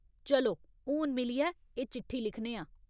चलो, हून मिलियै एह् चिट्ठी लिखने आं।